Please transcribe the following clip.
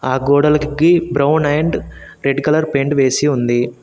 ఆ గోడలికి brown and red colour paint వేసి ఉంది